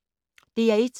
DR1